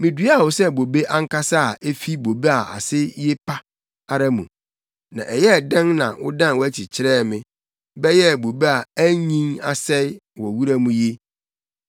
Miduaa wo sɛ bobe ankasa a efi bobe a ase ye pa ara mu. Na ɛyɛɛ dɛn na wodan wʼakyi kyerɛɛ me bɛyɛɛ bobe a anyin asɛe wɔ wura mu yi?